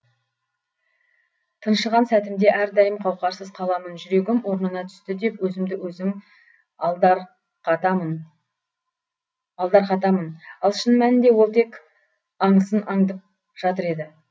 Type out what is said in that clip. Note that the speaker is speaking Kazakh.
тыншыған сәтімде әрдайым қауқарсыз қаламын жүрегім орнына түсті деп өзімді өзім алдарқатамын ал шын мәнінде ол тек аңысын аңдып жатыр еді